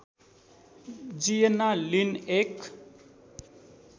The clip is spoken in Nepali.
जिएन्ना लिन एक